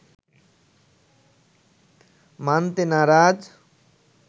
মানতে নারাজ